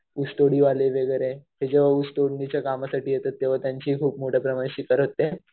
ऊसतोडी वगैरे हे जेंव्हा ऊस तोडीच्या कामासाठी येतात तेंव्हा त्यांची खूप मोठ्या प्रमाणात शिकार होते.